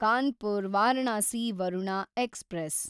Kanpur Varanasi Varuna express